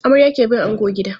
Amarya ke bin ango gida.